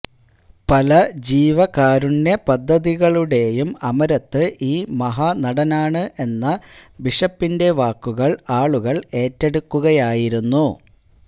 പല ജീവകാരുണ്യ പദ്ധതികളുടെയും അമരത്ത് ഈ മഹാനടനാണ് എന്ന ബിഷപ്പിന്റെ വാക്കുകള് ആളുകള് ഏറ്റെടുക്കുകയായിരുന്നു